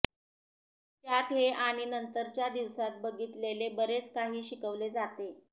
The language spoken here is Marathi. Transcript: त्यांत हे आणि नंतरच्या दिवसांत बघितलेले बरेच काही शिकवले जाते